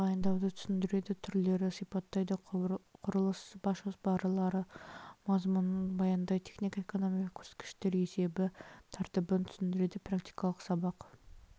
тағайындауды түсіндіреді түрлерді сипаттайды құрылыс бас жоспарлары мазмұнын баяндайды технико-экономикалық көрсеткіштер есебі тәртібін түсіндіреді практикалық сабақ